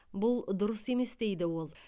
бұл дұрыс емес дейді ол